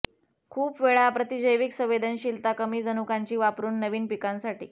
खूप वेळा प्रतिजैविक संवेदनशीलता कमी जनुकांची वापरून नवीन पिकांसाठी